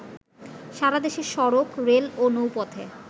সারা দেশে সড়ক, রেল ও নৌপথে